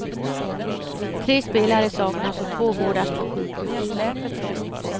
Tre spelare saknas och två vårdas på sjukhus.